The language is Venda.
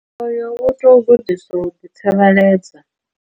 Oyo wo tou vhudziswa u dza.